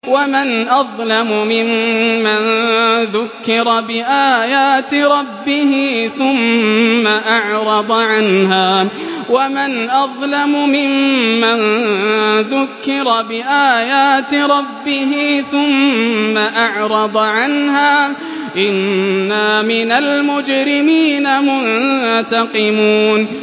وَمَنْ أَظْلَمُ مِمَّن ذُكِّرَ بِآيَاتِ رَبِّهِ ثُمَّ أَعْرَضَ عَنْهَا ۚ إِنَّا مِنَ الْمُجْرِمِينَ مُنتَقِمُونَ